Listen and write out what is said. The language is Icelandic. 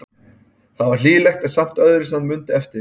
Það var hlýlegt en samt öðruvísi en hann mundi eftir því.